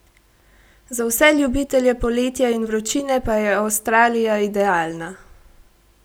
Za vse ljubitelje poletja in vročine pa je Avstralija idealna!